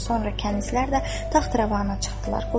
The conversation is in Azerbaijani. Sonra kənizlər də taxt-rəvana çıxdılar.